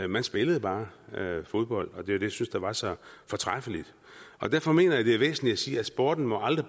man spillede bare fodbold og det var det jeg synes var så fortræffeligt derfor mener jeg det er væsentligt at sige at sporten aldrig